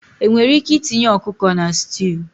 Enwere ike itinye ọkụkọ na stew